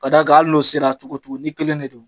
Ka da kan , hali n'o sera cogo cogo ni kelen de don